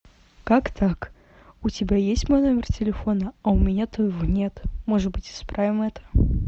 как так у тебя есть мой номер телефона а у меня твоего нет может быть исправим это